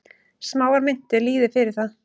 Smáar myntir lýði fyrir það.